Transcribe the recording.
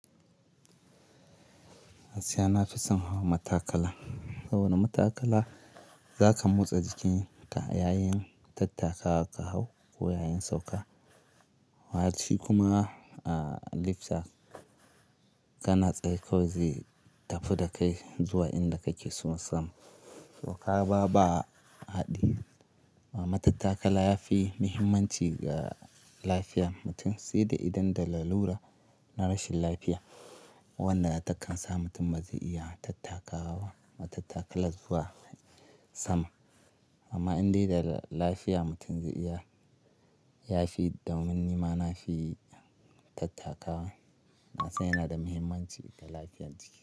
Gaskiya na fison hawa matakala. Saboda matakala za ka motsa jikinka yayin tattakawa ka hau ko yayin sauka. Yafi kuma, ah, lifta ka na tsaye kawai zai tafi da kai zuwa inda kake so na sama. To kaga ba haɗi. Matattakala yafi muhimmanci ga lafiya mutum, sai da idan da lalura na rashin lafiya, wannan na takan sa mutum ba zai iya tattakawa matattakala zuwa sama. Amma in dai da lafiya mutum zai iya, yafi domin ni ma nafi tattakawa. Na san yana da muhimmanci ga lafiyan jiki.